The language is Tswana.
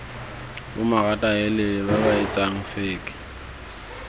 bomaratahelele ba ba etsang feke